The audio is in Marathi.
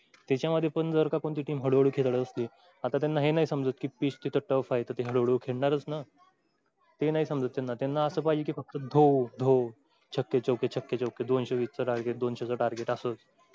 तेच्या मध्ये पण जर कोणती team हळू हळू खेळात असली. आता त्यांना हे नाही समजत कि pitch tuff हळू हळू खेळणारच ना . ते नाही समजत त्यांना असं पाहिजे कि फक्त धो धो छक्के चौके छक्के चौके दोनशे वीस चा target दोनशे चा target असंच.